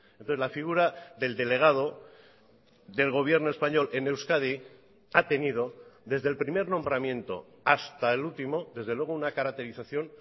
entonces la figura del delegado del gobierno español en euskadi ha tenido desde el primer nombramiento hasta el último desde luego una caracterización